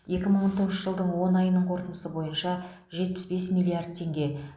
екі мың он тоғызыншы жылдың он айының қорытындысы бойынша жетпіс бес миллард теңге